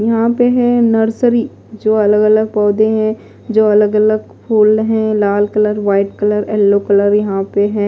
यहां पे है नर्सरी जो अलग-अलग पौधे हैं जो अलग-अलग फूल हैं लाल colour white colour yellow colour यहां पे है।